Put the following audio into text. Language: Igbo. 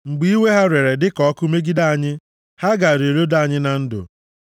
mgbe iwe ha rere dịka ọkụ megide anyị, ha gaara eloda anyị na ndụ;